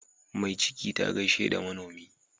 Mai ciki ta gaishe da manomi.